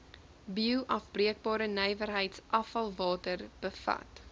bioafbreekbare nywerheidsafvalwater bevat